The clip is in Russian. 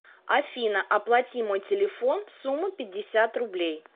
афина оплати мой телефон сумма пятьдесят рублей